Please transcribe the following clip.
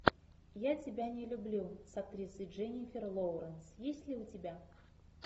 я тебя не люблю с актрисой дженнифер лоуренс есть ли у тебя